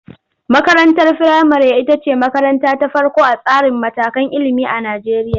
Makarantar firamare ita ce makaranta ta farko a tsarin matakan ilimi a Najeriya.